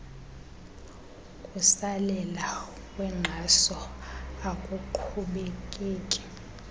kusalela kwenkxaso akuqhubekeki